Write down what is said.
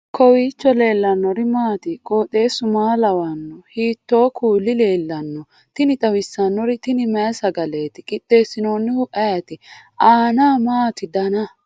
kowiicho leellannori maati ? qooxeessu maa lawaanno ? hiitoo kuuli leellanno ? tini xawissannori tini mayi sagaeeti qixxeessinohu ayeti aanna maati dana